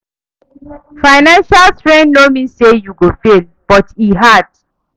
Financial strain no mean say you go fail, but e hard